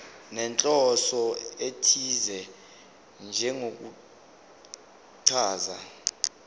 nenhloso ethize njengokuchaza